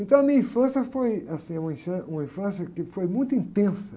Então, a minha infância foi, assim, uma, uma infância que foi muito intensa.